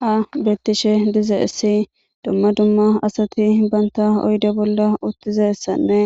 Ha betishe dizayis duma duma asati banita oyide bolla utidizanee